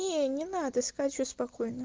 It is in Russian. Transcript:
не надо скачивать спокойно